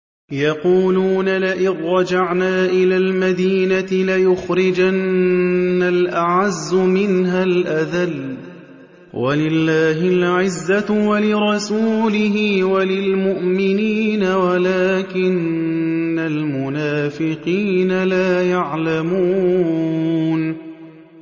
يَقُولُونَ لَئِن رَّجَعْنَا إِلَى الْمَدِينَةِ لَيُخْرِجَنَّ الْأَعَزُّ مِنْهَا الْأَذَلَّ ۚ وَلِلَّهِ الْعِزَّةُ وَلِرَسُولِهِ وَلِلْمُؤْمِنِينَ وَلَٰكِنَّ الْمُنَافِقِينَ لَا يَعْلَمُونَ